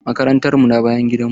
Makarantan mu na bayan gidan mu.